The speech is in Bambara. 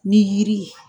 Ni yiri ye